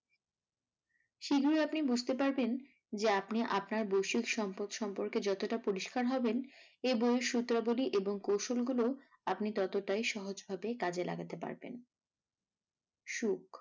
শীঘ্রই আপনি বুঝতে পারবেন যে আপনি আপনার বৈশিষ সম্পদ সম্পর্কে যতটা পরিষ্কার হবেন, এই বই এর সূত্রাবলী এবং কৌশল গুলোও আপনি ততটাই সহজভাবে কাজে লাগাতে পারবেন। সুখ